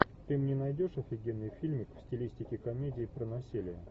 ты мне найдешь офигенный фильмик в стилистике комедии про насилие